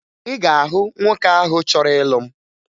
Ị ga-ahụ nwoke ahụ chọrọ ịlụ m